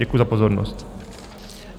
Děkuji za pozornost.